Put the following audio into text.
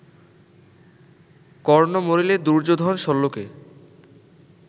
কর্ণ মরিলে, দুর্যোধন শল্যকে